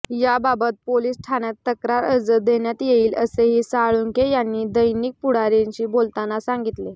याबाबत पोलिस ठाण्यात तक्रार अर्ज देण्यात येईल असेही साळुंखे यांनी दैनिक पुढारीशी बोलताना सांगितले